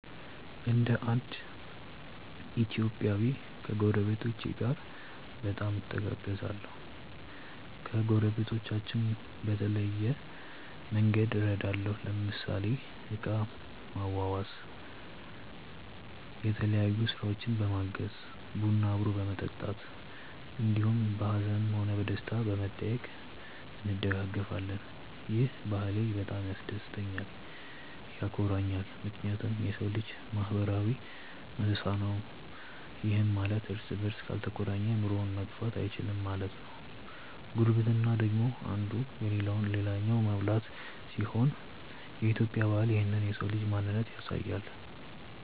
እንደ እንድ ኢትዮጵያዊ ከጐረቤቶቼ ጋር በጣም እተጋገዛለሁ። ከጐረቤቶቻችን በተለያየ መንግድ እረዳለሁ ለምሳሌ እቃ ማዋዋስ፣ የተለያዮ ስራውችን በማገዝ፣ ቡና አብሮ በመጠጣት እንዲሁም በሀዝንም ሆነ በደስታም በመጠያዬቅ እንደጋገፋለን። ይህ ባህሌ በጣም ያስደስተኛልም ያኮራኛልም ምክንያቱም የሰው ልጅ ማህበራዊ እንስሳ ነው ይህም ማለት እርስ በርስ ካልተቆራኘ ኑሮውን መግፋት እይችልም ማለት ነው። ጉርብትና ደግሞ እንዱ የለለውን ልላኛው መሙላት ሲሆን የኢትዮጵያ ባህል ይህንን የሰው ልጅ ማንነት ያሳያል።